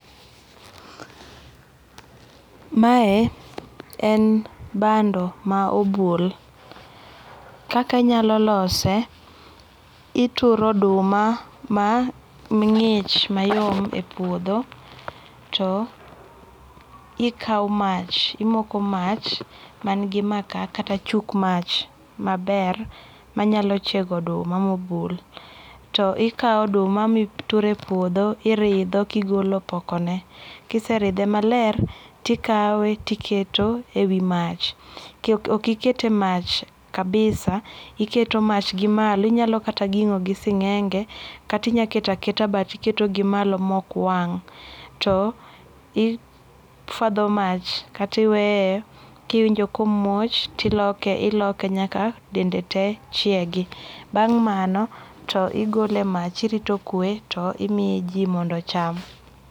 Mae en bando ma obul. Kaka anyalo lose, ituro oduma mang'ich mayom e puodho to ikawo mach, imoko mach mangi maka kata chuk mach maber manyalo chiego oduma mobul. To ikawo oduma mituro e puodho iridho kigolo opokone. Kiseridhe maler, tikawe tiketo e wi mach. Ok iket e mach kabisa, iketo mach gi malo. Inyalo kata ging'o gi sing'enge kata inyalo keto aketa but iketo gimalo mokwang'. To ifuadho mach kata iweyo kiwinjo komuoch tiloke iloke nyaka dende tee chiegi. Bang' mano to igole e mach irito okwe to imiyo ji mondo ocham.